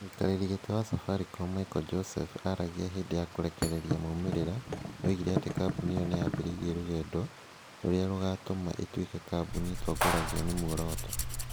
Mũikarĩri giti wa Safaricom, Michael Joseph aragia hĩndĩ ya kũrekereria maumĩrĩra,. Oigire atĩ kambuni ĩyo nĩ yambĩrĩirie rũgendo rũrĩa rũgaatũma ĩtuĩke kambuni ĩtongoragio nĩ muoroto.